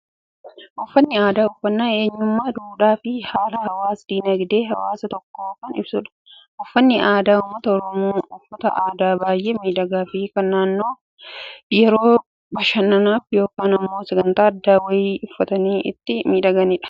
Uffanni aadaa, uffannaa eenyummaa, duudhaa fi haala hawaas dinaagdee hawaasa tokkoo kan ibsudha. Uffannaan aadaa uummata Oromoo, uffata aadaa baayyee miidhagaa fi kan namoonni yeroo bashannanaaf yookaan immoo sagantaa addaa wayii uffatanii ittiin miidhaganidha.